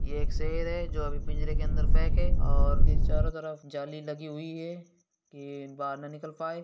ये एक शेर है जो अभी पिंजरे के अंदर पैक है और उसके चारो तरफ जाली लगी हुई है की बाहर ना निकल पाए।